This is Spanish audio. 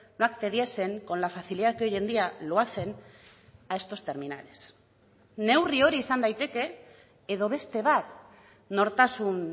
no accediesen con la facilidad que hoy en día lo hacen a estos terminales neurri hori izan daiteke edo beste bat nortasun